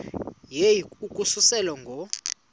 yehu ukususela ngo